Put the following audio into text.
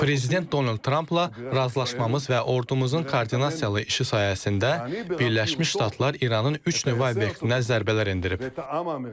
Prezident Donald Trampla razılaşmamız və ordumuzun koordinasiyalı işi sayəsində Birləşmiş Ştatlar İranın üç nüvə obyektinə zərbələr endirib.